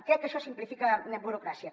crec que això simplifica la burocràcia